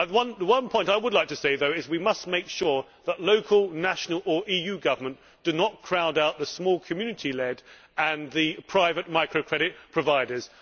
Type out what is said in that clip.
The one point I would like to make is that we must make sure that local, national or EU government does not crowd out the small community led and private microcredit providers.